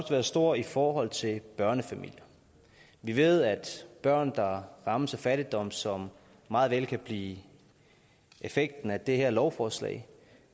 være stor i forhold til børnefamilier vi ved at børn der rammes af fattigdom som meget vel kan blive effekten af det her lovforslag